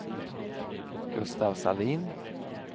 Gustaf Sahlin